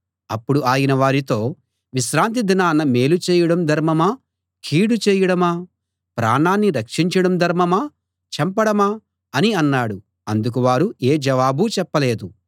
అప్పుడు ఆయన వారితో విశ్రాంతి దినాన మేలు చేయడం ధర్మమా కీడు చేయడమా ప్రాణాన్ని రక్షించడం ధర్మమా చంపడమా అని అన్నాడు అందుకు వారు ఏ జవాబూ చెప్పలేదు